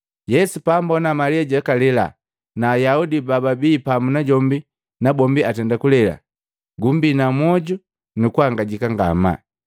Yesu paambona Malia jakalela, na Ayaudi bababi pamu najombi na bombi atenda kulela, gumbina moju nukuhangajika ngamaa.